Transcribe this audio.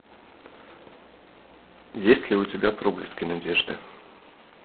есть ли у тебя проблески надежды